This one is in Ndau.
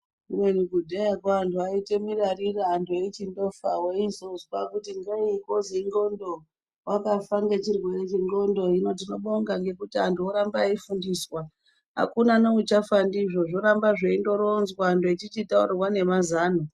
Kubeni kudhayako antu aiite mirarira antu eichindofa weizozwa kuti ngeyi kozi indxondo, wakafa ngechirwere chendxondo. Hino tinobonga nekuti antu oramba eifundiswa. Hakuna neuchafa ndizvo, zvoramba zveindoronzwa antu echichitaurirwa nemazano.